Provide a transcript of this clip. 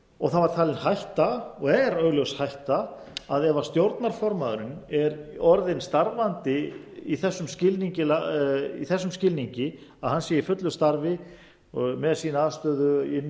framvegis það var talin hætta og er augljós hætta að ef stjórnarformaðurinn er orðin starfandi í þessum skilningi að hann sé í fullu starfi með sína aðstöðu inni í